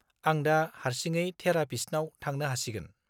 आं दा हारसिङै थेरापिस्टनाव थांनो हासिगोन।